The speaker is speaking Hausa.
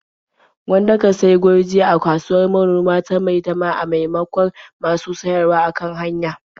Gwanda ka sayi gurji a kasuwar manoma ta Maitama a maimakon masu siyarwa a kan hanya.